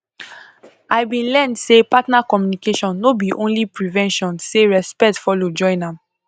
i been learn say partner communication no be only prevention say respect follow join am